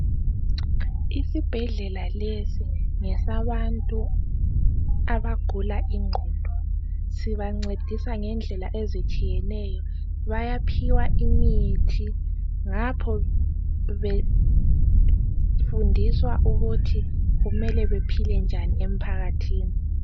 Isibhedlela lesi ngesabantu abagula ingqondo sibancedisa ngedlela ezitshiyeneyo ,bayaphiwa imithi ngapho befundiswa ukuthi kumele bephile njani emphakathini.